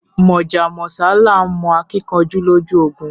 Mọ́já mọ́sá làá mọ akíkanjú lójú ogun